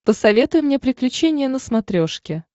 посоветуй мне приключения на смотрешке